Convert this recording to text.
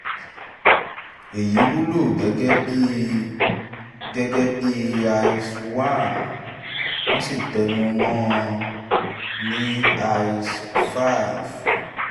èyí wúlò gẹ́gẹ́ bí gẹ́gẹ́ bí ias one wọ́n sì tẹnu mọ́ ọn ní ias five